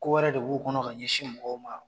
Kowɛrɛ de b'u kɔnɔ ka ɲɛsin mɔgɔw ma